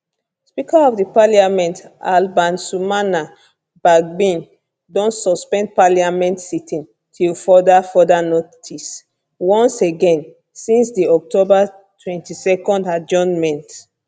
speaker of parliament alban sumana bagbin don suspend parliament sitting till further further notice once again since di october 22 adjournment